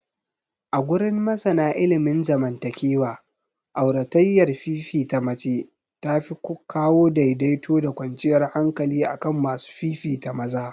Agurin masana ilimin zaman takewa, auratayyar fifita mace tafi kawo daidaito da kwanciyar hankali akan masu fifita maza.